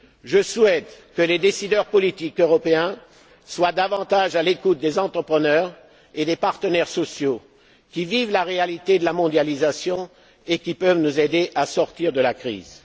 Je souhaite que les décideurs politiques européens soient davantage à l'écoute des entrepreneurs et des partenaires sociaux, qui vivent la réalité de la mondialisation et qui peuvent nous aider à sortir de la